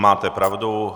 Máte pravdu.